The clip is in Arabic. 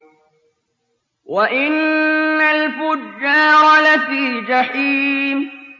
وَإِنَّ الْفُجَّارَ لَفِي جَحِيمٍ